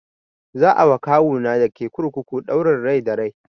Za a wa kawu na dake kurkuku ɗaurin rai da rai